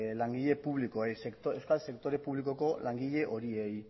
langile publikoei euskal sektore publikoko langile horiei